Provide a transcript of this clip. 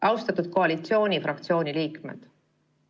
Austatud koalitsioonifraktsiooni liikmed!